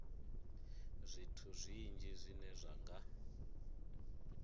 zwithu zwinzhi zwine zwa nga